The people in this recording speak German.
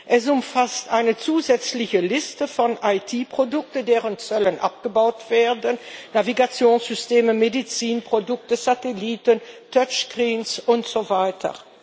Es umfasst eine zusätzliche Liste von IT Produkten, deren Zölle abgebaut werden Navigationssysteme, Medizinprodukte, Satelliten, Touchscreens und so weiter.